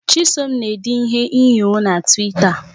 Chisom na-ede ihe inyo na Twita